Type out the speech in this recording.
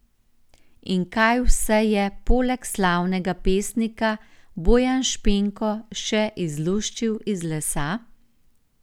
In kaj vse je, poleg slavnega pesnika, Bojan Špenko še izluščil iz lesa?